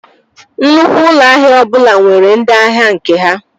Nnukwu ụlọ ahịa ọbụla nwere ndị ahịa nke ha